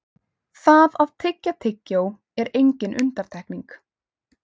það að tyggja tyggjó er engin undantekning